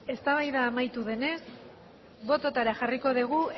eztabaida amaitu denez bototara jarriko dugu